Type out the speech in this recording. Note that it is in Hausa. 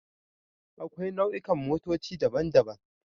Akwai nau'ikan motoci daban-daban